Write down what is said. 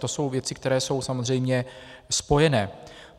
To jsou věci, které jsou samozřejmě spojené.